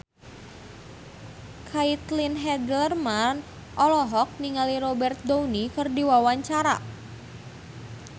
Caitlin Halderman olohok ningali Robert Downey keur diwawancara